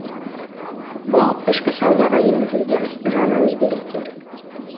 бұл ішкі саудаға енгізілген жаңа өзгерістер